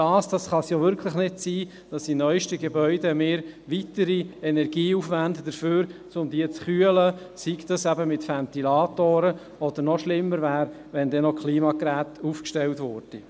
Das kann es ja wirklich nicht sein, dass wir in neuesten Gebäuden weitere Energie aufwenden, um sie zu kühlen, sei dies mit Ventilatoren oder noch schlimmer, indem noch Klimageräte aufgestellt würden.